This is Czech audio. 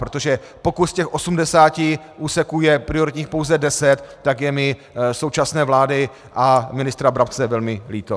Protože pokud z těch 80 úseků je prioritních pouze 10, tak je mi současné vlády a ministra Brabce velmi líto.